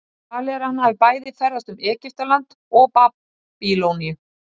Talið er að hann hafi bæði ferðast um Egyptaland og Babýloníu.